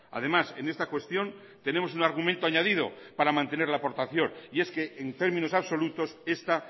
además en esta cuestión tenemos un argumento añadido para mantener la aportación y es que en términos absolutos esta